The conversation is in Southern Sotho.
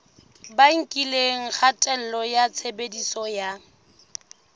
bakileng kgatello ya tshebediso ya